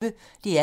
DR P1